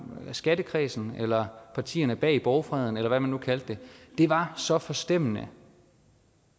skattekredsen eller partierne bag borgfreden eller hvad man nu kaldte det det var så forstemmende